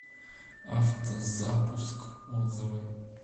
автозапуск отзывы